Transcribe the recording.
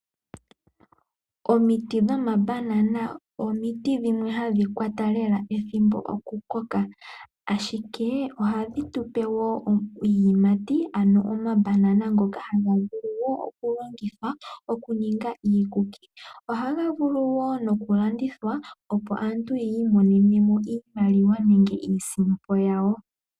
Omiti dhomabanana, omiti dhimwe hadhi kwata lela ethimbo okukoka, ashike ohadhi tupe wo iiyamati ano omabanana ngoka hagavulu okulongithwa okuninga iikuki. Ohaga vulu wo okulandithwa opo aantu yi imonenemo iimaliwa nenge iisimpo yawo.